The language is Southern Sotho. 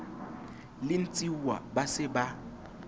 le ntshiuwa ba se ba